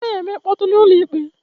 Anaghị eme mkpọtụ na ụlọ ikpe